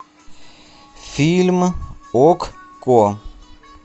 фильм окко